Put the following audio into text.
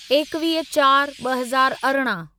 एकवीह चार ब॒ हज़ार अरिड़हं